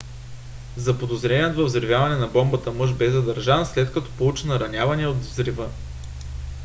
заподозреният във взривяването на бомбата мъж бе задържан след като получи наранявания от взрива